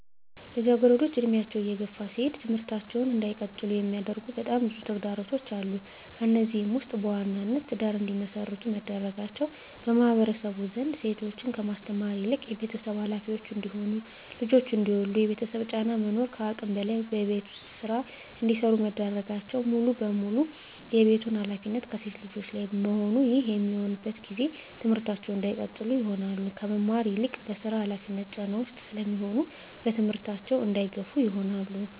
ልጃገረዶች እድሜያቸው እየገፋ ሲሄድ ትምህርታቸውን እንዳይቀጥሉ የሚያደርጉ በጣም ብዙ ተግዳሮቶች አሉ። ከነዚህም ውስጥ በዋናነት ትዳር እንዲመሰርቱ መደረጋቸው በማህበረሰቡ ዘንድ ሴቶችን ከማስተማር ይልቅ የቤተሰብ ሀላፊዎች እንዲሆኑ ልጆች እንዲወልዱ የቤተሰብ ጫና መኖር ከአቅም በላይ የቤት ውስጥ ስራ እንዲሰሩ መደረጋቸውና ሙሉ በሙሉ የቤቱን ሀላፊነት ከሴት ልጆች ላይ መሆኑ ይህ በሚሆንበት ጊዜ ትምህርታቸውን እንዳይቀጥሉ ይሆናሉ። ከመማር ይልቅ በስራ ሀላፊነት ጫና ውስጥ ስለሚሆኑ በትምህርታቸው እንዳይገፋ ይሆናሉ።